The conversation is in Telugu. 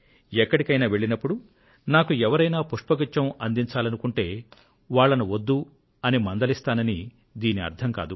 ఎక్కడికైనా వెళ్లినప్పుడు నాకు ఎవరైనా పుష్పగుచ్ఛం అందించాలనుకుంటే వాళ్లను వద్దు అని మందలిస్తానని దీని అర్థం కాదు